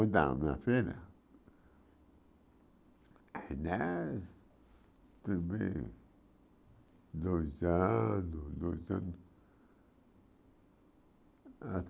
Então, minha filha, ela tem bem dois anos dois anos